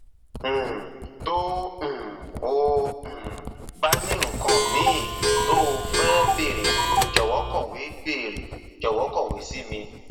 um tó um o um bá ní nǹkan míì tó o fẹ béèrè jọwọ kọwé béèrè jọwọ kọwé sí mi